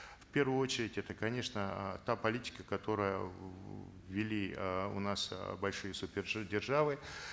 в первую очередь это конечно э та политика которая ввели э у нас э большие супер державы